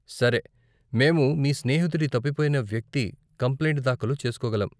సరే, మేము మీ స్నేహితుడి తప్పిపోయిన వ్యక్తి కంప్లైంట్ దాఖలు చేసుకోగలం.